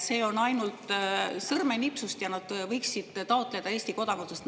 See on ainult sõrmenips – ja nad võiksid taotleda Eesti kodakondsust.